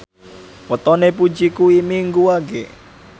wetone Puji kuwi Minggu Wage